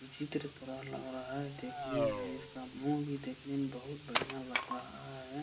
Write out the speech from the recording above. विचित्र तरह लग रहा है देखने में | इसका मुह भी देखने में बहुत बढ़ियां लग रहा है।